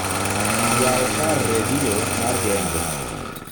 yaw kar redio mar genge